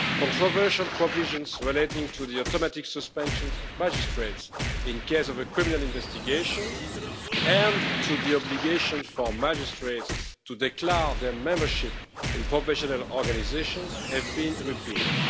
controversial provisions relating to the automatic suspensions of magistrates in case of a criminal investigation and to the obligation for magistrates to declare their membership in professional organisations have been repealed.